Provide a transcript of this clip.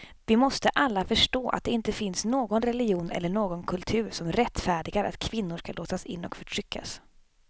Vi måste få alla att förstå att det inte finns någon religion eller någon kultur som rättfärdigar att kvinnor ska låsas in och förtryckas.